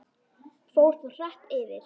Fór þó hratt yfir.